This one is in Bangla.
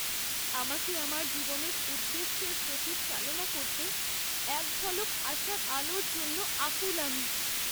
আমাকে আমার জীবনের উদ্দেশ্যের প্রতি চালনা করতে এক ঝলক আশার আলোর জন্য আকুল আমি।